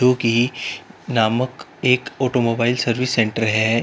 की नामक एक ऑटोमोबाइल सर्विस सेंटर है।